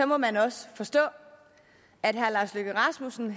må man også forstå at herre lars løkke rasmussen